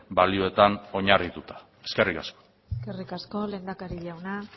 balioetan oinarrituta eskerrik asko eskerrik asko lehendakari jauna